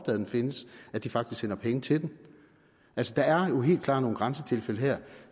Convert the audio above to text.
at den findes faktisk sender penge til den altså der er jo helt klart nogle grænsetilfælde her